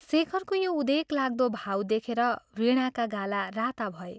शेखरको यो उदेकलाग्दो भाव देखेर वीणाका गाला राता भए।